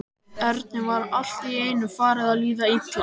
Erni var allt í einu farið að líða illa.